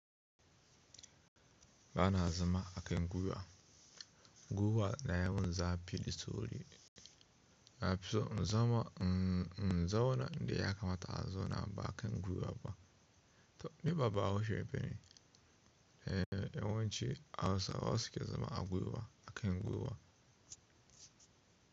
Ba na zama a kan gwiwa. Gwiwa na yana mun zafi da sauri. Na fi son in zama, in zauna inda ya kamata in zauna ba a kan gwiwa ba. To ni ba bahaushe bane? Eh, yawanci Hausawa suke zama a gwiwa, a kan gwiwa.